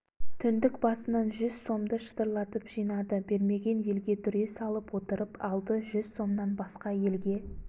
түндік басынан жүз сомды шытырлатып жинады бермеген елге дүре салып отырып алды жүз сомнан басқа елге